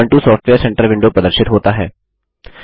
Ubuntu software centre विडों प्रदर्शित होता है